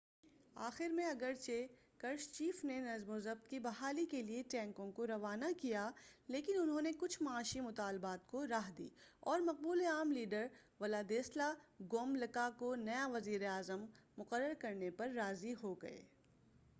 آخر میں اگرچہ کرشچیف نے نظم و ضبط کی بحالی کے لیے ٹینکوں کو روانہ کیا لیکن انہوں نے کچھ معاشی مطالبات کو راہ دی اور مقبول عام لیڈر ولادیسلا گوملکا کو نیا وزیر اعظم مقرر کرنے پر راضی ہوگئے